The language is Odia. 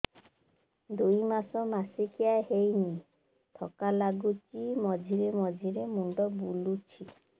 ଦୁଇ ମାସ ମାସିକିଆ ହେଇନି ଥକା ଲାଗୁଚି ମଝିରେ ମଝିରେ ମୁଣ୍ଡ ବୁଲୁଛି